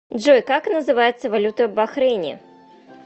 джой как называется валюта в бахрейне